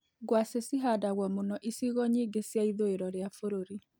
Ngwacĩ ci handagwo mũno icigo nyingĩ cia ithũĩro rĩa bũrũri.